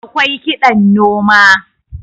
awkai kiɗan noma